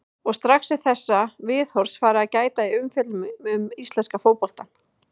Og strax er þessa viðhorfs farið að gæta í umfjöllun um íslenska fótboltann.